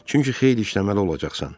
Çünki xeyli işləməli olacaqsan.